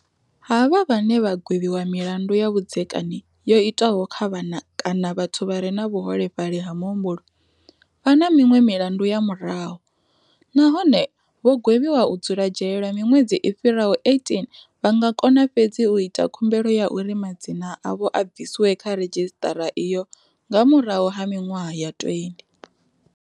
Havha vhane vha gwevhiwa milandu ya vhudzekani yo itwaho kha vhana kana vhathu vha re na vhuholefhali ha muhumbulo, vha na miṅwe milandu ya murahu, nahone vho gwevhiwa u dzula dzhele lwa miṅwedzi i fhiraho 18 vha nga kona fhedzi u ita khumbelo ya uri madzina avho a bviswe kha redzhisiṱara iyo nga murahu ha miṅwaha ya 20.